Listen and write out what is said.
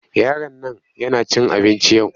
Yaron nan yana cin abinci yau.